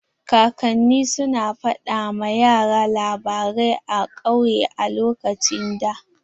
Kakanni su na fada ma yara labarai a kauye a lokacin da.